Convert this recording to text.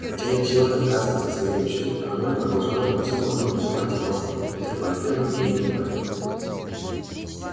хотя не в силах отказываться от своей мечты оно и продолжало амбициозно называть его метрополитеном имени в